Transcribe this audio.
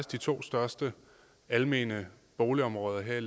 de to største almene boligområder her